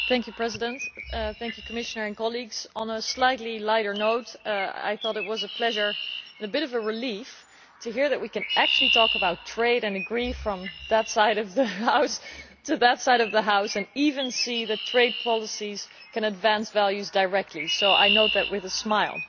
Mr President, I would like to thank the Commissioner and my colleagues. On a slightly lighter note, I thought it was a pleasure and a bit of a relief to hear that we can actually talk about trade and agree from one side of the House to the other side of the House, and even see that trade policies can advance values directly, so I note that with a smile.